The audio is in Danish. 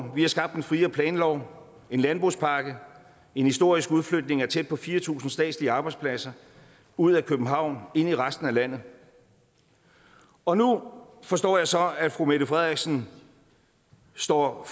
vi har skabt en friere planlov en landbrugspakke en historisk udflytning af tæt på fire tusind statslige arbejdspladser ud af københavn og ind i resten af landet og nu forstår jeg så at fru mette frederiksen står